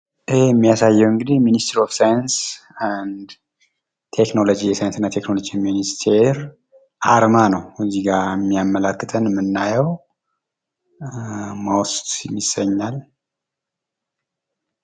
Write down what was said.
ይህ የሚያሳየው እንግዲህ ሚሲቲር ኦፍ ሳይንስ የሳይንስና ተችኖሎጂ ሚኒስተር አርማን ነው። እዚህ ጋ የሚያመላክተን የምናየው ሞስት ይሰኛል።